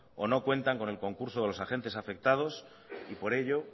o no cuentan con el concurso de los agentes afectados y por ello